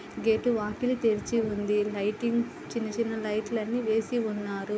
Get వాకిలి తెరిచి ఉంది. లైటింగ్ చిన్న చిన్న లైట్ లు అన్నీ వేసి ఉన్నారు.